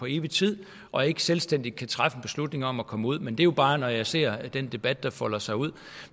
evig tid og ikke selvstændigt kan træffe en beslutning om at komme ud men det er jo bare hvad jeg ser af den debat der folder sig ud